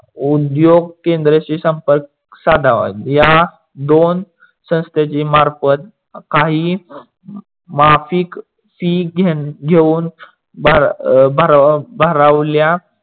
उद्योग केंद्राशी संपर्क साधावा. या दोन संस्थांच्या मार्फत काही माफीक फी घेऊन भरावल्या